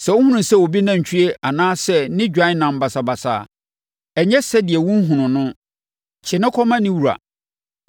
Sɛ wohunu sɛ obi nantwie anaa sɛ ne dwan nam basabasa a, ɛnyɛ sɛdeɛ wonhunuu no. Kyere no kɔma ne wura.